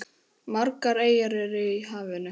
Margar eyjar eru í hafinu.